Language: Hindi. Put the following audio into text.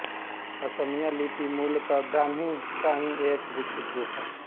असमिया लिपि मूलत ब्राह्मी का ही एक विकसित रूप है